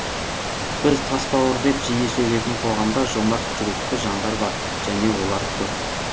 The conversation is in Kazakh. біз тасбауыр деп жиі сөгетін қоғамда жомарт жүректі жандар бар және олар көп